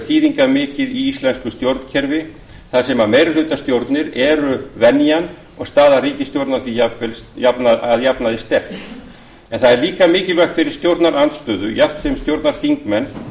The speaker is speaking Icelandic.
þýðingarmikið í íslensku stjórnkerfi þar sem meirihlutastjórnir eru venjan og staða ríkisstjórnar því að jafnaði sterk en það er líka mikilvægt fyrir stjórnarandstöðu jafnt sem stjórnarþingmenn